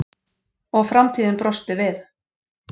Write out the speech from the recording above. Og framtíðin brosti við.